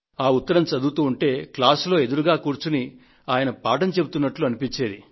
ఆ ఉత్తరం చదువుతూ ఉంటే తరగతి గదిలో ఆయన నాకు ఎదురుగా కూర్చొని పాఠాన్ని చెబుతున్నట్లుగా తోచేది